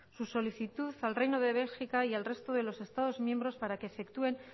su solicitud al reino de bélgica y al resto de los estados miembros para que efectúen